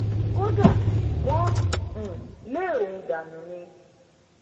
kódà wọn um lé òun dànù ni